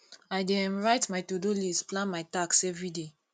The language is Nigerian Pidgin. i dey um write my todo list plan my tasks everyday